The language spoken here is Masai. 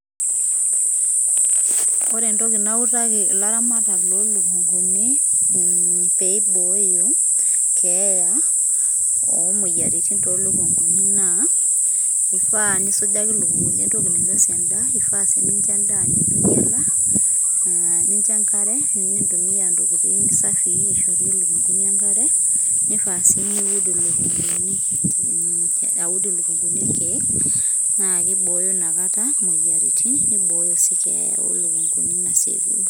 ore entoki nautaki, ilaramata lo lukunguni, mm peiboyo keya omoyiaritin tolukunguni na, ifaa nisujaki ilikunguni entoki nainosie endaa, ifa si pincho endaa netu inyiala, nincho enkare nintumia intokitin safii aishorie ilukunguni enkare nifaa si niud ilukunguni ilkeek na kiboyo nakata imoyiaritin niboyo si keeya olukuni nasieku.